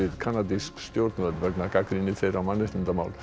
kanadísk stjórnvöld vegna gagnrýni þeirra á mannréttindamál